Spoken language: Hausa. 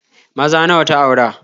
Maza nawa ta aura?